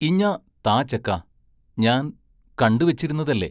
ഇഞ്ഞാ താ ചെക്കാ ഞാൻ കണ്ടു വെച്ചിരുന്നതല്ലേ?